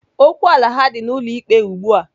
Okwu ala ha dị n'ụlọ ikpe ugbua.